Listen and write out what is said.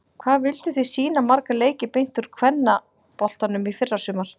Hvað vilduð þið sýna marga leiki beint úr kvennaboltanum í fyrrasumar?